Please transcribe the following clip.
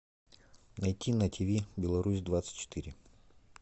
найти на тв беларусь двадцать четыре